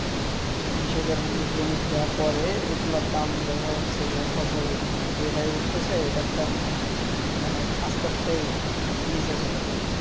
কৃষকের মানে বণিক যারা করে এগুলোর দাম দেখা যাচ্ছে যে ফসল যেটাই উঠতেছে এটার দাম মানে আস্তে আস্তেই নিচে চলে যাচ্ছে